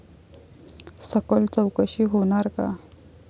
सखोल चौकशी होणार का?